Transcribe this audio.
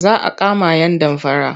Za a kama yan damfara.